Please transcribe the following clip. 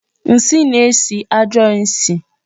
Nsi na-esi ajo isi.